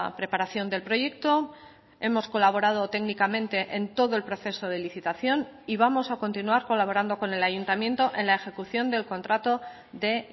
preparación del proyecto hemos colaborado técnicamente en todo el proceso de licitación y vamos a continuar colaborando con el ayuntamiento en la ejecución del contrato de